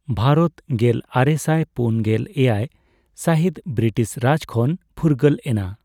ᱵᱷᱟᱨᱚᱛ ᱜᱮᱞ ᱟᱨᱮᱥᱟᱭ ᱯᱩᱱ ᱜᱮᱞ ᱮᱭᱟᱭ ᱥᱟᱦᱤᱛ ᱵᱨᱤᱴᱤᱥ ᱨᱟᱡᱽ ᱠᱷᱚᱱ ᱯᱷᱩᱨᱜᱟᱹᱞ ᱮᱱᱟ ᱾